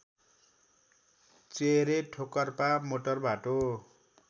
चेहेरे ठोकर्पा मोटरबाटो